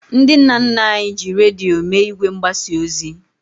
Ndị nna nna anyị ji redio mee ìgwè mgbasa ozi.